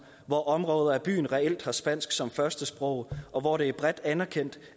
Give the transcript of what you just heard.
hvor områder af byen reelt har spansk som førstesprog og hvor det er bredt anerkendt